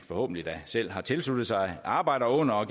forhåbentlig selv har tilsluttet sig arbejder under og